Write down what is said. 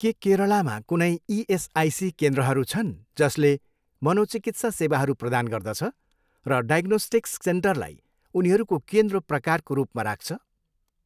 के केरलामा कुनै इएसआइसी केन्द्रहरू छन् जसले मनोचिकित्सा सेवाहरू प्रदान गर्दछ र डायग्नोस्टिक्स सेन्टरलाई उनीहरूको केन्द्र प्रकारको रूपमा राख्छ?